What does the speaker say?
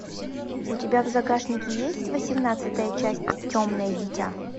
у тебя в загашнике есть восемнадцатая часть темное дитя